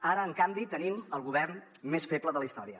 ara en canvi tenim el govern més feble de la història